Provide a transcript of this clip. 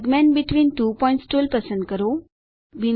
segment between two points tool પસંદ કરો